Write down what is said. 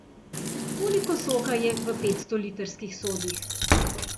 Koliko soka je v petstolitrskih sodih?